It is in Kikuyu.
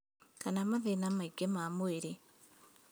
Kana mathĩna mangĩ ma mwĩrĩ